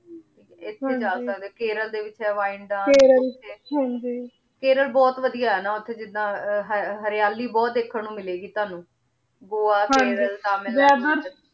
ਏਥੇ ਜਿਆਦਾ ਤਾਰ ਖੇਰਲ ਦੇ ਵਿਚ ਵੀਨਸ ਆ ਖੇਰਲ ਹਾਂਜੀ ਖੇਰਲ ਬੋਹਤ ਵਾਦਿਯ ਹੈ ਨਾ ਓਤੇ ਜਿਦਾਂ ਹਰ੍ਯਾਲੀ ਬੋਹਤ ਦੇਖਣ ਨੂ ਮਿਲੇ ਗੀ ਤਾਣੁ ਗੋਆ ਖੇਰਲ ਤਮਿਲ ਨਾਡੁ